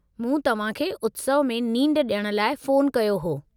मूं तव्हां खे उत्सव में नींड ॾियण लाइ फ़ोनु कयो हो।